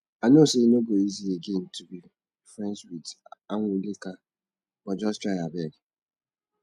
i know say e no go easy again to be friends with anwulika but just try abeg